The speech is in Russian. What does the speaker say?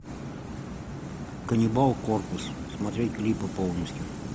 каннибал корпус смотреть клипы полностью